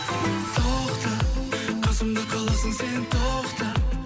тоқта қасымда сен қаласың тоқта